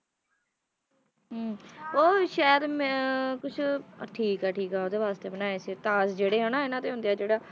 ਹਮ ਉਹ ਸ਼ਾਇਦ ਮੈਂ ਕੁਛ ਅਹ ਠੀਕ ਆ ਠੀਕ ਆ ਉਹਦੇ ਵਾਸਤੇ ਬਣਾਇਆ ਸੀ ਤਾਜ਼ ਜਿਹੜੇ ਹਨਾ ਇਹਨਾਂ ਦੇ ਹੁੰਦੇ ਆ ਜਿਹੜਾ,